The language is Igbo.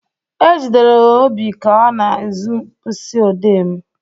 Ejidere m Obi ka ọ na-ezu mkpịsị ọdee m.